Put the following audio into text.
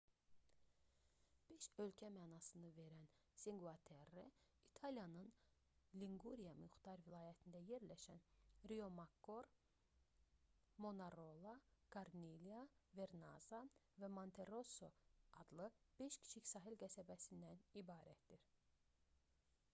"beş ölkə mənasını verən cinque terre i̇taliyanın linquria muxtar vilayətində yerləşən riomakkor manarola kornilya vernazza və monterosso adlı beş kiçik sahil qəsəbəsindən ibarətdir